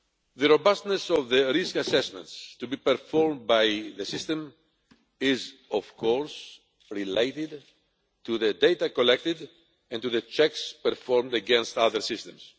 The robustness of the risk assessments to be performed by the system is, of course, related to the data collected and to the checks performed against other systems.